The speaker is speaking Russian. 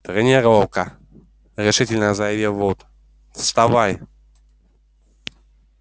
тренировка решительно заявил вуд вставай